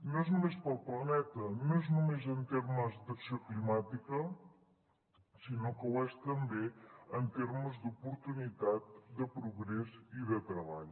no és només per al planeta no és només en termes d’acció climàtica sinó que ho és també en termes d’oportunitat de progrés i de treball